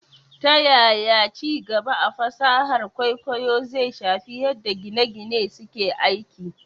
Ta yaya ci gaba a fasahar kwaikwayo zai shafi yadda gine - gine suke aiki?